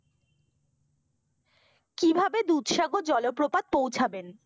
কিভাবে দুধসাগর জলপ্রপাত পৌছাবেন?